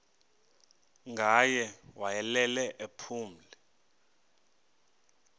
ngaye wayelele ephumle